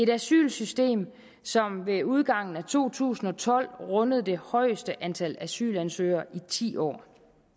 asylsystem som ved udgangen af to tusind og tolv rundede det højeste antal asylansøgere i ti år